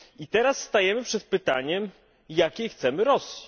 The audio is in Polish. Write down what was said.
Teraz stajemy przed pytaniem, jakiej chcemy Rosji.